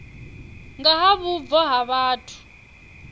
nga ha vhubvo ha vhathu